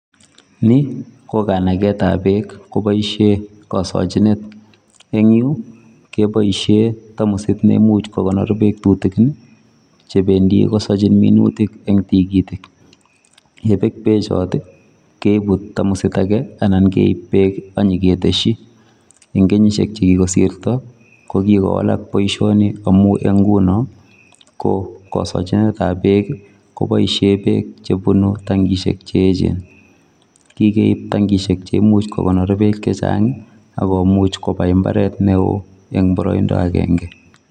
Nii ko kanaketab beek koboishen kosochinet, eng' yuu keboishen tamosit neimuch ko konor beek tutukin chebendi kosochin minutik eng' tikitik, yebek bechon keibu tamosit akee anan keib beek anyoketeshi, Eng kenyishek chekikosirto ko kikowalak boishoni amun eng' ng'unon ko kosochinetab beek koboishen beek chebunu tankishek cheechen, kikeib tankishek cheimuch kokonor beek chechang ak komuch kobaii imbaret neoo eng' boroindo akeng'e.